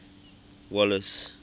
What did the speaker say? wallace